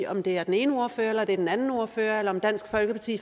om det er den ene ordfører eller den anden ordfører eller om dansk folkeparti